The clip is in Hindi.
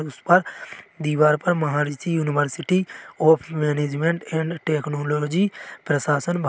उस पर दीवार पर Maharishi university of management and technology प्रशासन भा --